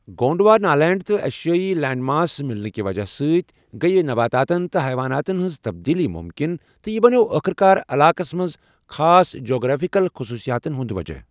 Gondwanaland تہٕ ایشیٲیی land mass مِلنہٕ کہِ وجہہ سۭتۍ گٔیہِ نباتاتَن تہٕ حیواناتَن ہٕنٛز تبدیٖلی مُمکِن تہٕ یہِ بنٛیوو آخٕرکار علاقَس منٛز خاص جیوگرافیکل خصوٗصیاتَن ہنٛد وجہہ۔